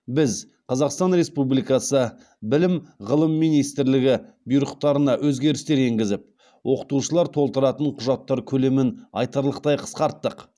біз қазақстан республикасы білім ғылым министрлігі бұйрықтарына өзгерістер енгізіп оқытушылар толтыратын құжаттар көлемін айтарлықтай қысқарттық